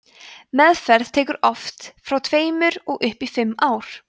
meðferð tekur oft frá tveimur og upp í fimm ár